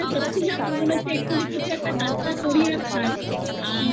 সত্যি আমার মনে হচ্ছে এখনই কিছু tatka করি আর খাই আর আমাদের